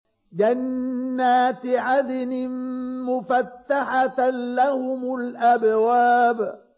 جَنَّاتِ عَدْنٍ مُّفَتَّحَةً لَّهُمُ الْأَبْوَابُ